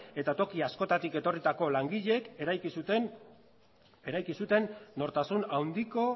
eta toki askotatik etorritako langileek eraiki zuten nortasun handiko